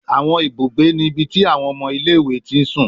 Awọn ibugbe ni ibi ti awọn ọmọ ile-iwe ti sun